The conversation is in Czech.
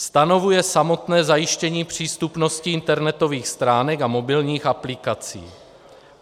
Stanovuje samotné zajištění přístupnosti internetových stránek a mobilních aplikací.